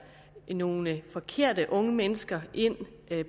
nogle forkerte unge mennesker ind